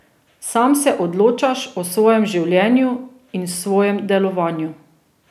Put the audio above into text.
Sam se odločaš o svojem življenju in svojem delovanju.